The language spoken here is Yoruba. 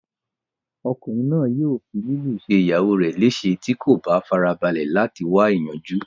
Ọkùnrin náà yóò fi lílù ṣe ìyàwó rẹ léèse tí kò bá farabalẹ̀ láti wá ìyanjú